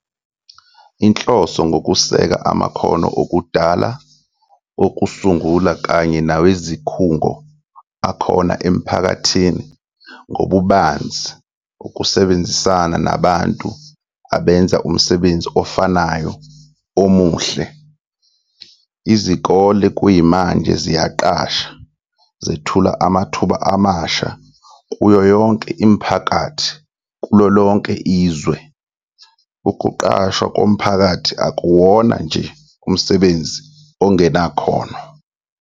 Inhloso ngukuseka amakhono okudala, okusungula kanye nawezikhungo akhona emphakathini ngobubanzi ukusebenzisana nabantu abenza umsebenzi ofanayo omuhle. Izikole kuyimanje ziyaqasha, zethula amathuba amasha kuyo yonke imiphakathi kulolonke izwe. Ukuqashwa komphakathi akuwona nje umsebenzi ongenakhono.